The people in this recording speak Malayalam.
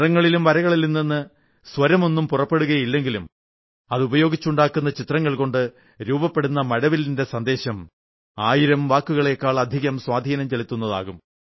നിറങ്ങളിലും വരകളിലും നിന്ന് സ്വരമൊന്നും പുറപ്പെടുകയില്ലെങ്കിലും അതുപയോഗിച്ചുണ്ടാക്കുന്ന ചിത്രങ്ങൾ കൊണ്ട് രൂപപ്പെടുന്ന മഴവില്ലിന്റെ സന്ദേശം ആയിരം വാക്കുകളേക്കാൾ അധികം സ്വാധീനം ചെലുത്തുന്നതാകും